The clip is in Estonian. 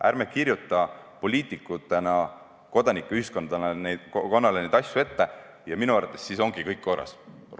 Ärme kirjutame poliitikutena kodanikuühiskonnale neid asju ette ja minu arvates siis ongi kõik korras!